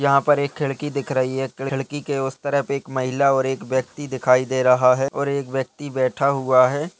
यहां पर एक खिड़की दिख रही है। खिड़की के उस तरफ एक महिला और एक व्यक्ति दिखाई दे रहा है और एक व्यक्ति बैठा हुआ है।